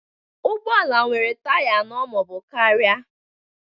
Ụgbọ ala nwere taya anọ ma ọ bụ karịa